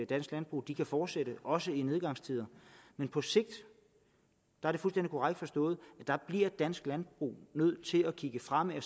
dansk landbrug kan fortsætte også i nedgangstider men på sigt er det fuldstændig korrekt forstået at der bliver dansk landbrug nødt til at kigge fremad og